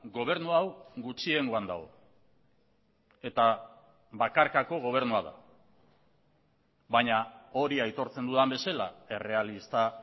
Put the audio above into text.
gobernu hau gutxiengoan dago eta bakarkako gobernua da baina hori aitortzen dudan bezala errealista